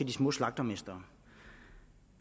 de små slagtermestre